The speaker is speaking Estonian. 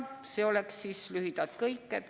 See on lühidalt kõik.